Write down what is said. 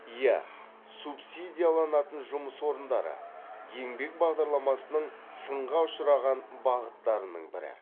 иә субсидияланатын жұмыс орындары еңбек бағдарламасының сынға ұшыраған бағыттарының бірі